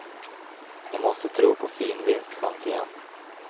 Jag måste tro på fin vinstchans igen.